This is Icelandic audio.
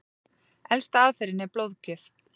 Elsta aðferðin er blóðgjöf.